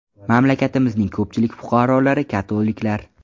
Mamlakatimizning ko‘pchilik fuqarolari katoliklar.